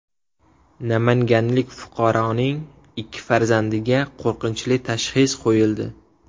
Namanganlik fuqaroning ikki farzandiga qo‘rqinchli tashxis qo‘yildi.